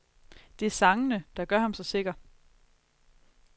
Det er sangene, der gør ham så sikker.